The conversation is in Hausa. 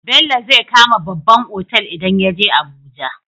Bello zai kama babban otal idan yaje abuja